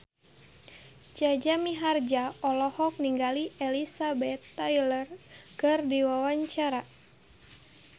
Jaja Mihardja olohok ningali Elizabeth Taylor keur diwawancara